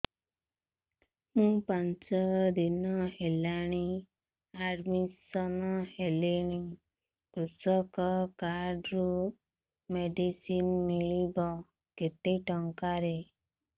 ମୁ ପାଞ୍ଚ ଦିନ ହେଲାଣି ଆଡ୍ମିଶନ ହେଲିଣି କୃଷକ କାର୍ଡ ରୁ ମେଡିସିନ ମିଳିବ କେତେ ଟଙ୍କାର